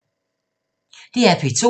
DR P2